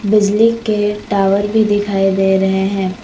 बिजली के टावर भी दिखाई दे रहे हैं।